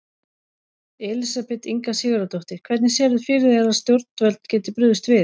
Elísabet Inga Sigurðardóttir: Hvernig sérðu fyrir þér að stjórnvöld geti brugðist við?